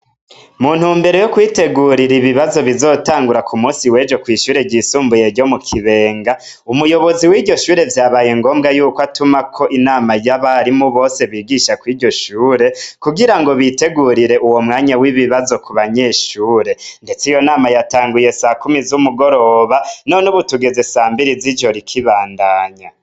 Muntu mbere yo kwitegurira ibibazo bizotangura ku musi weje kw'ishure ryisumbuye ryo mu kibenga umuyobozi w'iryoshure vyabaye ngombwa yuko atumako inama y'abarimu bose bigisha kw iryoshure kugira ngo bitegurire uwo mwanya w'ibibazo ku banyeshure, ndetse iyo nama yatanguye sa kumi z'umugoroba none ubutugeze sambiri z'i jo rikibandanya.